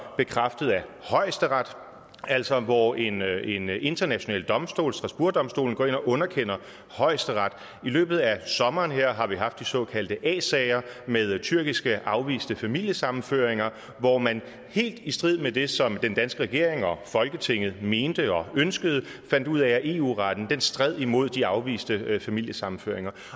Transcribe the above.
bekræftet af højesteret altså hvor en en international domstol strasbourgdomstolen går ind og underkender højesteret i løbet af sommeren her har vi haft de såkaldte a sager med tyrkiske afviste familiesammenføringer hvor man helt i strid med det som den danske regering og folketinget mente og ønskede fandt ud af at eu retten stred imod de afviste familiesammenføringer